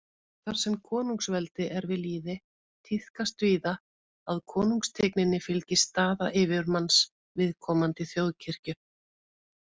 Þar sem konungsveldi er við lýði, tíðkast víða að konungstigninni fylgi staða yfirmanns viðkomandi þjóðkirkju.